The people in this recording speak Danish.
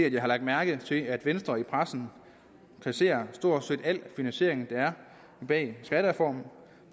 at jeg har lagt mærke til at venstre i pressen kasserer stort set al finansiering der er bag skattereformen